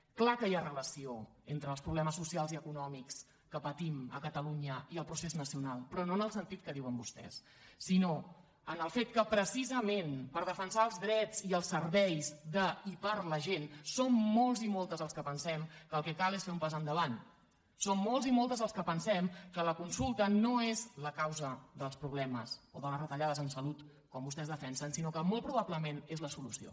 és clar que hi ha relació entre els problemes socials i econòmics que patim a catalunya i el procés nacional però no en el sentit que diuen vostès sinó en el fet que precisament per defensar els drets i els serveis de i per a la gent som molts i moltes els que pensem que el que cal és fer un pas endavant som molts i moltes els que pensem que la consulta no és la causa dels problemes o de les retallades en salut com vostès defensen sinó que molt probablement és la solució